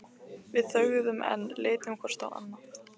Við þögðum enn, litum hvort á annað.